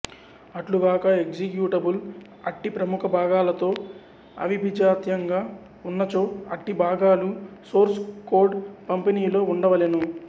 అట్లుగాక executable అట్టి ప్రముఖ భాగాలతో అవిభిజాత్యంగా ఉన్నచో అట్టి భాగాలు సోర్స్ కోడ్ పంపిణీలో ఉండవలెను